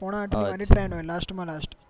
પોણા આઠ ની મારી train હોય લાસ્ટ માં લાસ્ટ